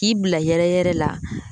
K'i bila yɛrɛ yɛrɛ la